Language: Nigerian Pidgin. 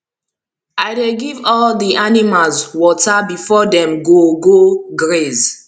i dey give all the animals water before dem go go graze